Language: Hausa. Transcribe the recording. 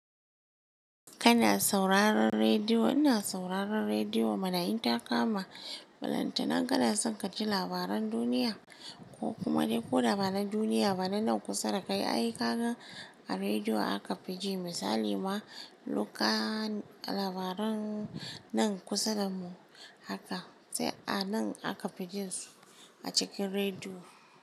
Kana sauraron rediyo. Ina sauraron rediyo mana inta kama. Balanta na kanason kaji labaran duniya ko kuma dai ko da ba na duniya ba, na nan kusa da kai. Ai kaga a rediyo aka fi ji misali ma lukan labaran nan kusa da mu haka sai a nan aka fi jin su a cikin rediyo.